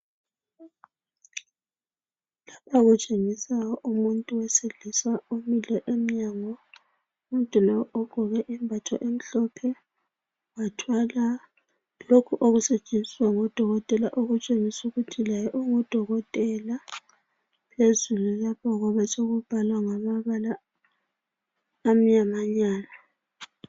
Lapha kutshengisa umuntu owesilisa omile emnyango. Umuntu lo ugqoke isembatho esimhlophe wathwala lokhu okusetshenziswa ngodokotela okutshengisa ukuthi laye ungudokotela. Phezulu lapho kube sekubhalwa ngamabala amnyamanyana.